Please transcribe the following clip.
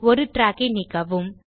ஒரு ட்ராக் ஐ நீக்கவும்